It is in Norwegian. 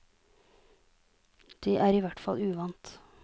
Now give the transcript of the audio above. Det er i hvert fall uvant.